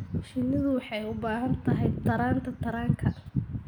Shinnidu waxay u baahan tahay taranta taranka.